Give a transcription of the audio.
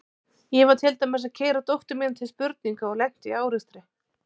Ég var til dæmis að keyra dóttur mína til spurninga og lenti í árekstri.